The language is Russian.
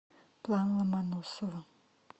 план ломоносова